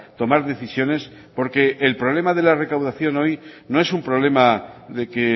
tomar decisiones porque el problema de la recaudación hoy no es un problema de que